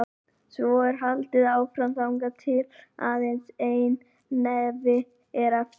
Svo er haldið áfram þangað til aðeins einn hnefi er eftir.